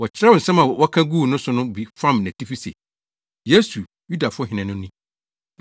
Wɔkyerɛw nsɛm a wɔka guu ne so no bi fam nʼatifi se, “YESU, YUDAFO HENE NO NI.”